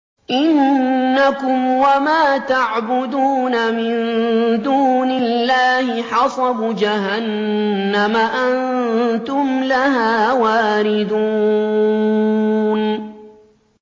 إِنَّكُمْ وَمَا تَعْبُدُونَ مِن دُونِ اللَّهِ حَصَبُ جَهَنَّمَ أَنتُمْ لَهَا وَارِدُونَ